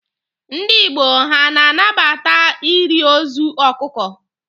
Ndị Igbo ha a na-anabata iri ozu ọkụkọ?